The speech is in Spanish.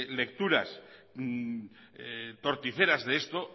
lecturas torticeras de esto